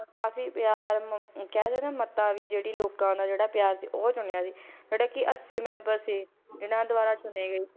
ਕਾਫ਼ੀ ਪਿਆਰ ਮ~ ਕਹਿ ਦੇਈਏ ਨਾ ਮੱਤਾ ਵੀ ਜਿਹੜੀ ਲੋਕਾਂ ਦਾ ਜਿਹੜਾ ਪਿਆਰ ਸੀ ਉਹ ਚੁਣਿਆ ਸੀ, ਜਿਹੜੇ ਕਿ ਅੱਸੀ ਮੈਂਬਰ ਸੀ ਇਹਨਾਂ ਦੁਆਰਾ ਚੁਣੇ ਗਏ,